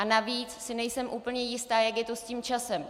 A navíc si nejsem úplně jistá, jak je to s tím časem.